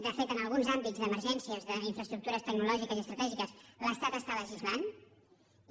de fet en alguns àmbits d’emergències d’in·fraestructures tecnològiques i estratègiques l’estat està legislant i